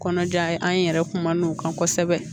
Kɔnɔja ye an yɛrɛ kumana o kan kosɛbɛ